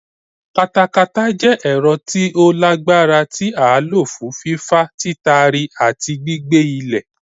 Katakata jẹ́ ẹ̀rọ tí ó lágbára tí a lò fún fífà, títari àti gbígbẹ́ ilẹ̀.